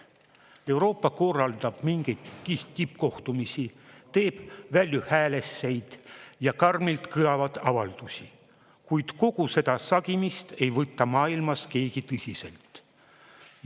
Euroopa korraldab mingeid tippkohtumisi, teeb valjuhäälseid ja karmilt kõlavaid avaldusi, kuid kogu seda sagimist ei võta maailmas keegi tõsiselt.